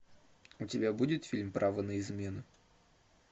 у тебя будет фильм право на измену